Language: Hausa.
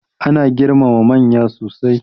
Ana girmama manya sosai.